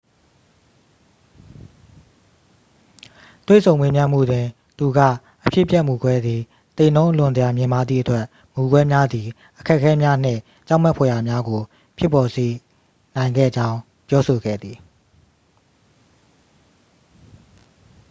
"တွေ့ဆုံမေးမြန်းမှုတွင် သူက အဖြစ်အပျက်မူကွဲသည် "သေနှုန်းအလွန်တရာ မြင့်မားသည့်အတွက် မူကွဲများသည် အခက်အခဲများနှင့် ကြောက်မက်ဖွယ်ရာများကို ဖြစ်ပေါ်စေနိုင်ခဲ့ကြောင်း" ပြောဆိုခဲ့သည်။